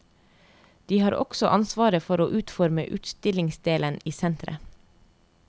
De har også ansvaret for å utforme utstillingsdelen i senteret.